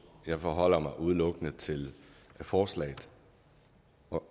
jeg forholder mig udelukkende til forslaget